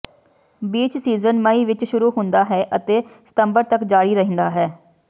beach season ਮਈ ਵਿਚ ਸ਼ੁਰੂ ਹੁੰਦਾ ਹੈ ਅਤੇ ਸਤੰਬਰ ਤਕ ਜਾਰੀ ਰਹਿੰਦਾ ਹੈ